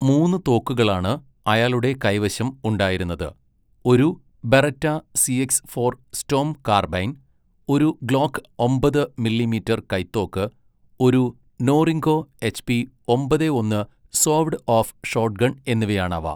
മൂന്ന് തോക്കുകളാണ് അയാളുടെ കൈവശം ഉണ്ടായിരുന്നത്, ഒരു Beretta C X four Storm carbine, ഒരു ഗ്ലോക്ക് ഒമ്പത് മില്ലി മീറ്റർ കൈത്തോക്ക്, ഒരു നോറിങ്കോ എച്ച്പി ഒമ്പതേ ഒന്ന് സോവ്ഡ് ഓഫ് ഷോട്ട്ഗൺ എന്നിവയാണവ.